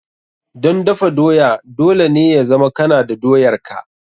Don dafa doya, dole ne ya zama kana da doyar ka.